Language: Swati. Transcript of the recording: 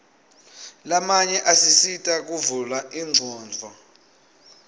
lamanye asisita kuvula ingcondvo